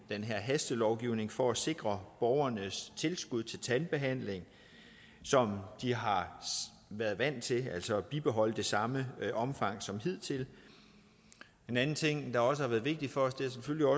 hastelovgivning for at sikre borgernes tilskud til tandbehandling som de har været vant til at have altså at bibeholde det i samme omfang som hidtil en anden ting der også har været vigtig for